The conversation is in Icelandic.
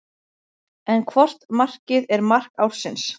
En hvort markið er mark ársins?